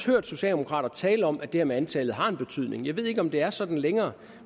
hørt socialdemokrater tale om at det her med antallet har betydning jeg ved ikke om det er sådan længere